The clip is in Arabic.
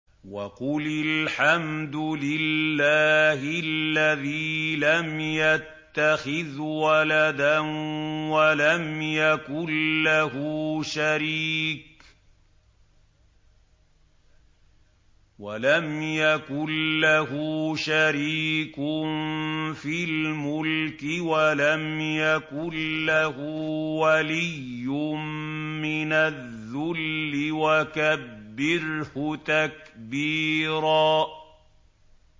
وَقُلِ الْحَمْدُ لِلَّهِ الَّذِي لَمْ يَتَّخِذْ وَلَدًا وَلَمْ يَكُن لَّهُ شَرِيكٌ فِي الْمُلْكِ وَلَمْ يَكُن لَّهُ وَلِيٌّ مِّنَ الذُّلِّ ۖ وَكَبِّرْهُ تَكْبِيرًا